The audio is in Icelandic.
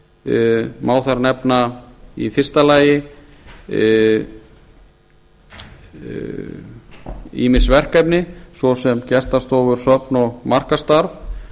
fjárheimildum má þar nefna í fyrsta lagi ýmis verkefni svo sem gestastofur söfn og markaðsstarf